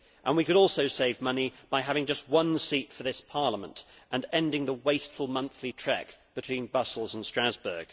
We could also save money by having just one seat for this Parliament and ending the wasteful monthly trek between Brussels and Strasbourg.